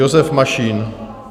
Josef Mašín.